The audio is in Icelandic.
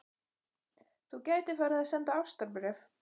Þú gætir farið að senda ástarbréf.